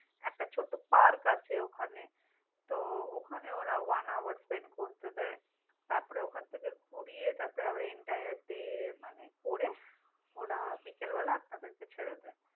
একটা ছোট্ট park আছে ওখানে। তো ওখানে ওরা onehourspend করতে দেয়। তারপরে ওখান থেকে ঘুরিয়ে তারপরে আবার entire day মানে করে, ওঁরা বিকেলবেলা আপনাদের কে ছেড়ে দেয়।